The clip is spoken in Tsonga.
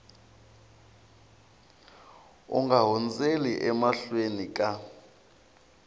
u nga hundzeli emahlweni ka